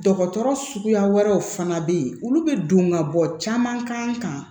Dɔgɔtɔrɔ suguya wɛrɛw fana bɛ yen olu bɛ don ka bɔ caman k'an kan